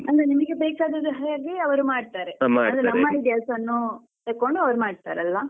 ಅಂದ್ರೆ ನಿಮ್ಗೆ ಬೇಕಾದ ಹಾಗೆ ಸರಿಯಾಗಿ ಅವ್ರು ಮಾಡ್ತಾರೆ ನಮ್ಮಕೆಲ್ಸವನ್ನು ತಗೊಂಡು ಅವ್ರು ಮಾಡ್ತಾರೆ ಅಲ್ವಾ.